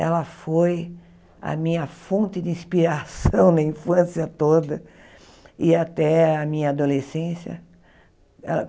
Ela foi a minha fonte de inspiração na infância toda e até a minha adolescência.